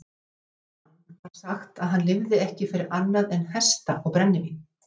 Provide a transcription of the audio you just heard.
Um þennan mann var sagt að hann lifði ekki fyrir annað en hesta og brennivín.